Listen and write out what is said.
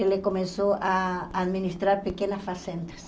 ele começou a administrar pequenas fazendas.